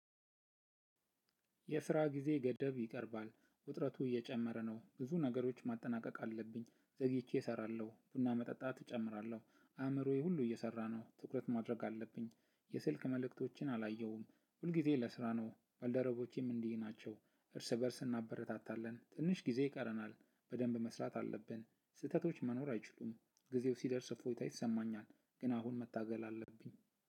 የስራ ጊዜ ገደብ ይቀርባል ውጥረቱ እየጨመረ ነው። ብዙ ነገሮች ማጠናቀቅ አለብኝ ዘግይቼ እሰራለሁ ቡና መጠጣት እጨምራለሁ አእምሮዬ ሁሉ እየሰራ ነው። ትኩረት ማድረግ አለብኝ የስልክ መልእክቶችን አላየሁም ሁልጊዜ ለስራ ነው ባልደረቦቼም እንዲህ ናቸው። እርስ በእርስ እናበረታታለን ትንሽ ጊዜ ይቀረናል። በደንብ መስራት አለብን ስህተቶች መኖር አይችሉም። ጊዜው ሲደርስ እፎይታ ይሰማኛል። ግን አሁን መታገል አለብኝ